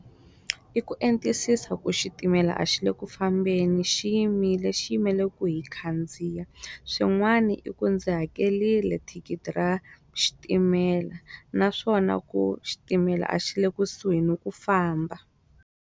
I ku entisisa ku xitimela a xile kufambeni xiyimile xi yimele ku hi khandziya swin'wana i ku ndzi hakerile thikithi ra xitimela naswona ku xitimela a xi le kusuhi ni ku famba.